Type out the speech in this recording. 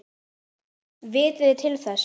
Vitið þið til þess?